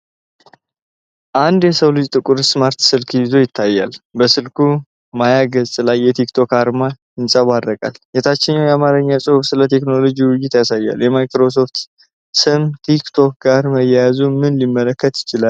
አንድ የሰው እጅ ጥቁር ስማርት ስልክ ይዞ ይታያል፤ በስልኩ ማያ ገጽ ላይ የቲክ ቶክ አርማ ይንጸባረቃል። የታችኛው የአማርኛ ጽሑፍ ስለ ቴክኖሎጂ ውይይት ያሳያል። የማይክሮሶፍት ስም ከቲክ ቶክ ጋር መያያዙ ምንን ሊያመለክት ይችላል?